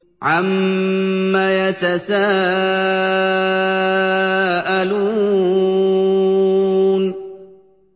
عَمَّ يَتَسَاءَلُونَ